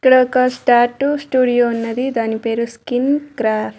ఇక్కడ ఒక స్టాటు స్టూడియో ఉన్నది దాని పేరు స్కిన్ క్రాఫ్ట్ .